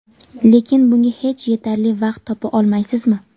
lekin bunga hech yetarli vaqt topa olmaysizmi?.